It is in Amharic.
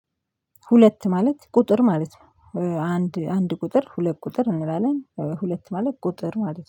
ሁለት ማለት ቁጥር ማለት ነው። አንድ አንድ ቁጥር ሁለት ቁጥር እንላለን። ሁለት ማለት ቁጥር ማለት ነው